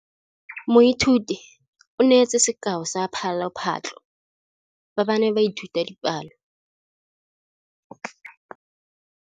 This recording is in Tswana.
Moithuti o neetse sekaô sa palophatlo fa ba ne ba ithuta dipalo.